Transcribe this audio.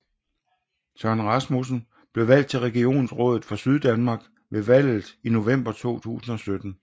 Søren Rasmussen blev valgt til Regionsrådet for Syddanmark ved valget i november 2017